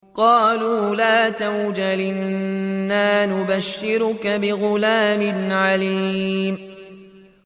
قَالُوا لَا تَوْجَلْ إِنَّا نُبَشِّرُكَ بِغُلَامٍ عَلِيمٍ